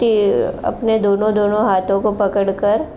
ते अपने दोनों दोनों हाथों को पकड़ कर --